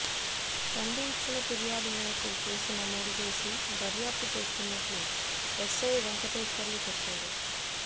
చందు ఇచ్చిన ఫిర్యాదు మేరకు కేసు నమోదు చేసి దర్యాప్తు చేస్తున్నట్లు ఎస్సై వెంకటేశ్వర్లు చెప్పారు